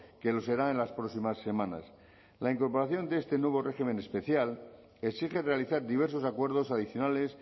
que lo será en las próximas semanas la incorporación de este nuevo régimen especial exige realizar diversos acuerdos adicionales